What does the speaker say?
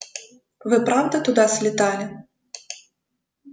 вы правда туда слетали